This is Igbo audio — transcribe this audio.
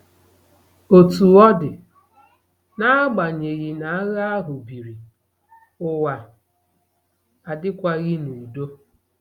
Otú ọ dị, n'agbanyeghị na agha ahụ biri, ụwa adịkwaghị n'udo.